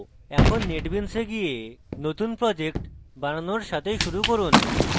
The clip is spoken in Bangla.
এখন netbeans a গিয়ে নতুন project বানানোর সাথে শুরু করুন